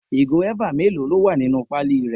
Ìgò eva mélòó ló wà nínú pali rẹ?